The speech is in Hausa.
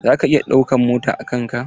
Zaka iya ɗauka mota a kan ka?